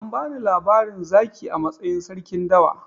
An bani labarin zaki a matsayin sarkin dawa.